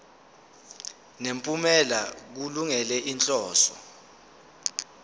nemiphumela kulungele inhloso